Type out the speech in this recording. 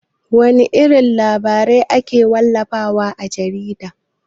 Wana irin labarai ake wallafa wa a jarida?